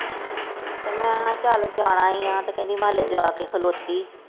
ਮੈਂ ਹਾਂ ਚੱਲ ਜਾਣਾ ਹੀ ਆ ਤੇ ਕਹਿੰਦੀ ਮੈਂ ਹਲੇ ਜਾ ਕੇ ਖਲੋਤੀ।